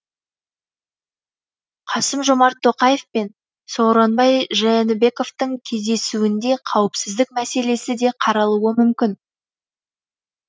касым жомарт тоқаев пен сооронбай жээнбековтің кездесуінде қауіпсіздік мәселесі де қаралуы мүмкін